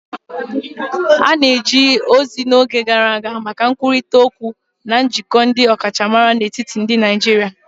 A na-eji ozi n'oge gara aga maka nkwurịta okwu na njikọ ndi ọkachamara n'etiti ndị Naijiria.